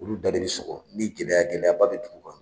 Olu da de bɛ sɔgɔ ni gɛlɛya gɛlɛyaba bɛ dugu kan